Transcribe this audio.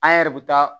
An yɛrɛ bɛ taa